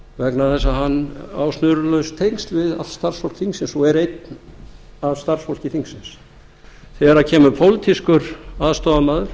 vegna þess að hann á snurðulaus tengsl við allt starfsfólk þingsins og er einn af starfsfólki þingsins þegar kemur pólitískur aðstoðarmaður